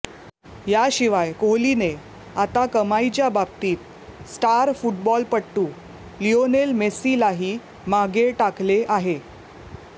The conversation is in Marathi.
याशिवाय कोहलीने आता कमाईच्या बाबतीत स्टार फुटबॉलपट्टू लियोनेल मेस्सीलाही मागे टाकले आहे